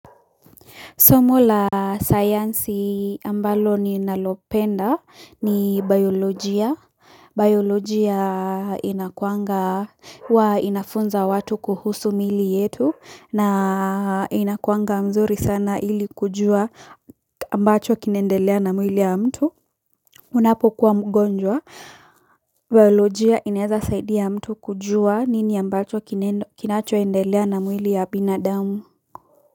Somo la sayansi ambalo ninalopenda ni biolojia. Biolojia inakuwanga huwa inafunza watu kuhusu miili yetu na inakuwanga mzuri sana ili kujua ambacho kinaendelea na mwili ya mtu. Unapokuwa mgonjwa, biolojia inaeza saidia mtu kujua nini ambacho kinachoendelea na mwili ya binadamu.